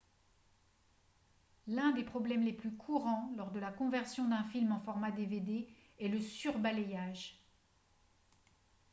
l'un des problèmes les plus courants lors de la conversion d'un film en format dvd est le surbalayage